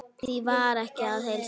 Því var ekki að heilsa.